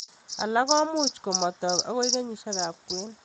Alak komuch matok akoi kenyishek ab kwen.